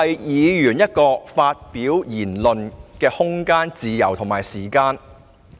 議員有其發表言論的空間、自由及時間。